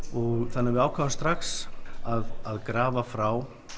þannig að við ákváðum strax að grafa frá